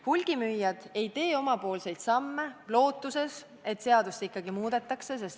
Hulgimüüjad ei tee omapoolseid samme, lootes, et seadust ikkagi muudetakse.